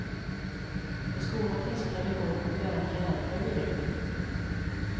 På skolan finns en tradition att göra en kalender vid jul.